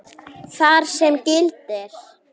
þar sem gildir